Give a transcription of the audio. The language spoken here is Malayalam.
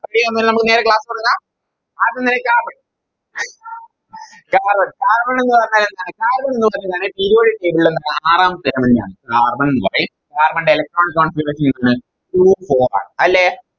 Okay അപ്പൊ നമ്മള് നേരെ Class തൊടങ്ങാം ആദ്യം തന്നെ Carbon carbonCarbon എന്ന് പറഞ്ഞാൽ എന്താ Carbon ന്ന് പറഞ്ഞാല് Periodic table ലെ ആറാമത്തെ Element നെയാണ് Carbon white carbon ൻറെ Electron configuration എങ്ങനെയാണ് Two four അല്ലെ